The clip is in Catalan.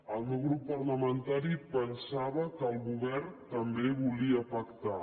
el meu grup parlamentari pensava que el go·vern també volia pactar